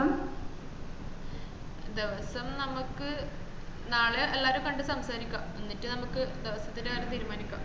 ദെവസം നമക്ക് നാളെ എല്ലാരേം കണ്ട് സംസാരിക്ക എന്നിട്ട് നമ്മക്ക് ദിവസത്തിന്റെ കാര്യം തീരുമാനിക്ക